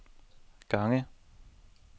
gange